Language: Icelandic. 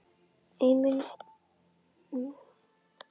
Ein munnmælasaga hermdi hinsvegar að skáldið hefði spurt